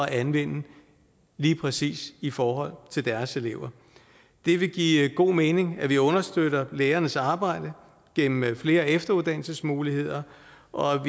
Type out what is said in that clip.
at anvende lige præcis i forhold til deres elever det vil give god mening at vi understøtter lærernes arbejde gennem flere efteruddannelsesmuligheder og